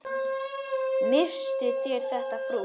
Misstuð þér þetta, frú!